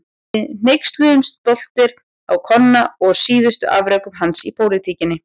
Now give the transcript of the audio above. Við hneykslumst stoltir á Konna og síðustu afrekum hans í pólitíkinni.